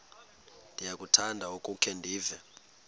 ndiyakuthanda ukukhe ndive